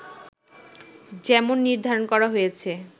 যেমন নির্ধারণ করা হয়েছে